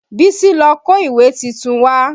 Bísí ló kó ìwé titun wá